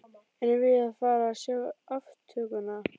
Erum við að fara að sjá aftökuna?